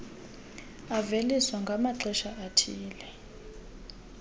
aveliswa ngamaxesha athile